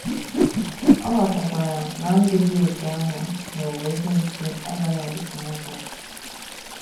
Ọ ghọtakwara na ndụ dị otú ahụ n’ụwa ekwensu agaghị adịte aka.